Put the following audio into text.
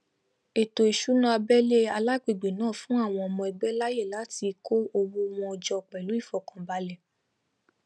ètò ìṣúná abẹlé alagbègbè náà fún àwọn ọmọ ẹgbẹ láàyè láti kó owó wọn jọ pẹlú ìfọkànbalẹ